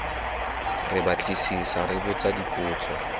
re batlisisa re botsa dipotso